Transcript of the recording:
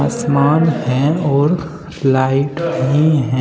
आसमान है और लाइट भी है।